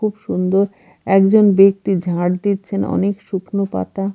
খুব সুন্দর একজন ব্যক্তি ঝাঁড় দিচ্ছেন অনেক শুকনো পাতা।